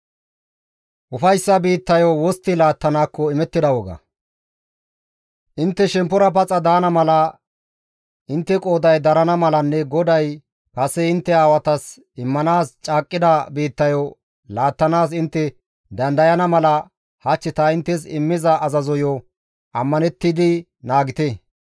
Intte shemppora paxa daana mala, intte qooday darana malanne GODAY kase intte aawatas immanaas caaqqida biittayo laattanaas intte dandayana mala hach ta inttes immiza azazoyo ammanettidi naagite.